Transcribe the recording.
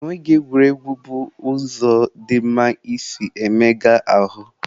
Egwuregwu bụ ụzọ dị mma isi na-emega ahụ.